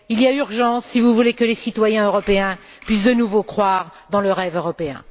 Il y a urgence, si vous voulez que les citoyens européens puissent de nouveau croire dans le rêve européen.